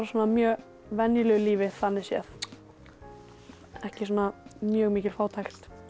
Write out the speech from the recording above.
mjög venjulegu lífi þannig séð ekki svona mjög mikil fátækt